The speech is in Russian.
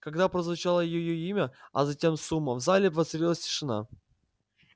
когда прозвучало её имя а затем сумма в зале воцарилась тишина